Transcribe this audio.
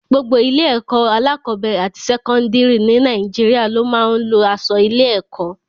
Gbogbo ilé-ẹ̀kọ́ alákọ̀ọ́bẹ̀rẹ̀ àti sẹ́kọ́ńdìrì ní Nàìjíríà ló máa ń lo aṣọ ilé-ẹ̀kọ́.